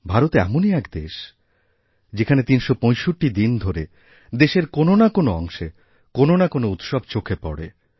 ভারত এমনই এক দেশ যেখানে ৩৬৫ দিন ধরে দেশের কোনও না কোনও অংশে কোনও নাকোনও উৎসব চোখে পড়ে